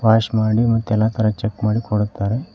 Wash ಮಾಡಿ ಮತ್ತೆಲ್ಲ ತರ ಚೆಕ್ ಮಾಡಿ ಕೊಡುತ್ತಾರೆ.